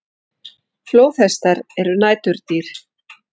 Flóðhestar eru næturdýr.